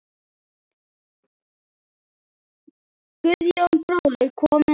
Guðjón bróðir kom með hana.